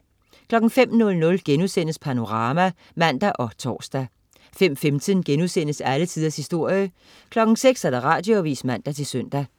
05.00 Panorama* (man og tors) 05.15 Alle tiders historie* 06.00 Radioavis (man-søn)